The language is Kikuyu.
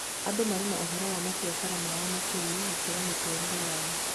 Andũ marĩ na ũhoro wa mabiacara mao makĩria gũkĩra mĩtũrĩre yao